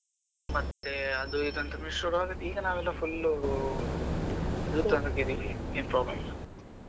ಮತ್ತೆ ಅದು ಇದು ಅಂತ ಶುರು ಆಗೋದು ಈಗ ನಾವೆಲ್ಲಾ full ಏನು problem ಇಲ್ಲ.